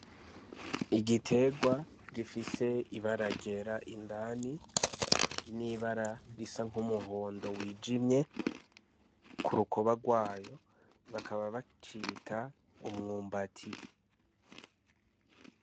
Igiterwa gifise ibara ryera indani n’ibara risa nk’umuhondo wijimye ku rukoba rwayo bakaba bacita umwumbati .